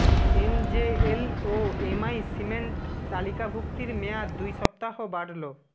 MJL ও MI cement তালিকাভুক্তির মেয়াদ দুই সপ্তাহ বাড়ল